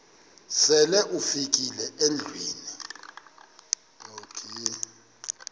sele ufikile endlwini